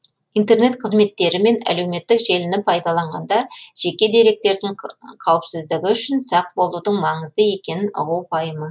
интернет қызметтері мен әлеуметтік желіні пайдаланғанда жеке деректердің қауіпсіздігі үшін сақ болудың маңызды екенін ұғу пайымы